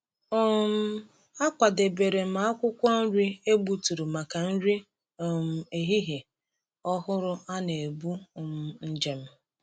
um Akwadebere m akwụkwọ nri e gbuturu maka nri um ehihie ọhụrụ a na-ebu um njem.